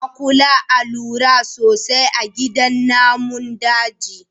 A kula a lura sosai a gidan namun daji.